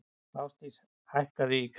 Ásdís, hækkaðu í græjunum.